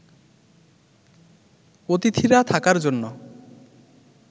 অতিথিরা থাকার জন্য